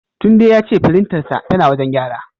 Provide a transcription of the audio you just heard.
Tunde ya ce firintarsa tana wajen gyara.